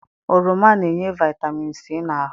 Oroma na-enye Vaịtamin C n'ahụ.